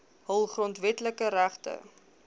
hul grondwetlike regte